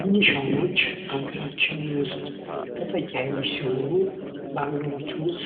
ሚኒሻወች በሀገራችን ታጣቂ ኃይሎች ሲሆኑ